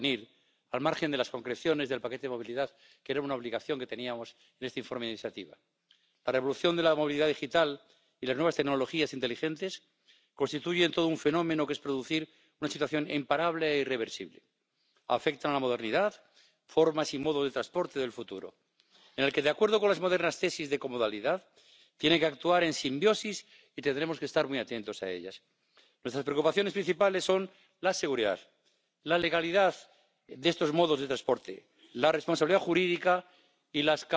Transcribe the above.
Mamy jednak wątpliwości, czy niektóre z proponowanych rozwiązań nie wpłyną szkodliwie na pozycję konsumentów oraz warunki funkcjonowania małych i średnich przedsiębiorstw. Nie możemy również uzależnić inwestycji w nowoczesne środki transportu wyłącznie od celów klimatycznych. Nie zgadzamy się również na stosowanie niezwykle kontrowersyjnego pojęcia dumping socjalny. Nie ma czegoś takiego jak dumping socjalny, nie ma definicji dumpingu socjalnego, ale jest to pojęcie, które po tej Sali fruwa od kilku